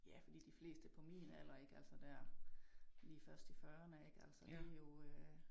Ja fordi de fleste på min alder ik altså dér lige først i fyrrene ik altså det jo øh